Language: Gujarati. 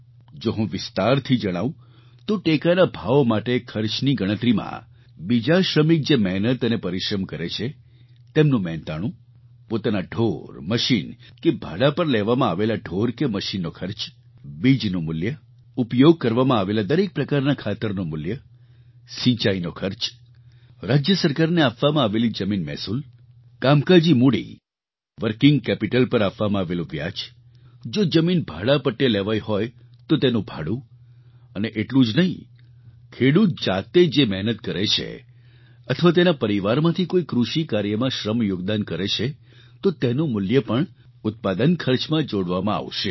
જો હું વિસ્તારથી જણાવું તો ટેકાના ભાવ માટે ખર્ચની ગણતરીમાં બીજા શ્રમિક જે મહેનત અને પરિશ્રમ કરે છે તેમનું મહેનતાણું પોતાનાં ઢોર મશીન કે ભાડા પર લેવામાં આવેલા ઢોર કે મશીનનો ખર્ચ બીજનું મૂલ્ય ઉપયોગ કરવામાં આવેલા દરેક પ્રકારના ખાતરનું મૂલ્ય સિંચાઈનો ખર્ચ રાજ્ય સરકારને આપવામાં આવેલી જમીન મહેસૂલ કામકાજી મૂડી વર્કિંગ કેપિટલ પર આપવામાં આવેલું વ્યાજ જો જમીન ભાડા પટ્ટે લેવાઈ હોય તો તેનું ભાડું અને એટલું જ નહીં ખેડૂત જાતે જે મહેનત કરે છે અથવા તેના પરિવારમાંથી કોઈ કૃષિ કાર્યમાં શ્રમ યોગદાન કરે છે તો તેનું મૂલ્ય પણ ઉત્પાદન ખર્ચમાં જોડવામાં આવશે